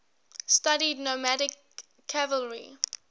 studied nomadic cavalry